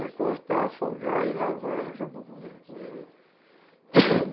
É cortar, afogar e lavar e acabou a conversa, uhum